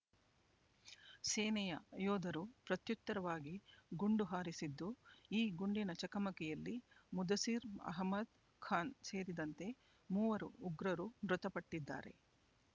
ಸೇನೆಯ ಯೋಧರು ಪ್ರತ್ಯುತ್ತರವಾಗಿ ಗುಂಡು ಹಾರಿಸಿದ್ದು ಈ ಗುಂಡಿನ ಚಕಮಕಿಯಲ್ಲಿ ಮುದಸಿರ್ ಅಹಮದ್ ಖಾನ್ ಸೇರಿದಂತೆ ಮೂವರು ಉಗ್ರರು ಮೃತಪಟ್ಟಿದ್ದಾರೆ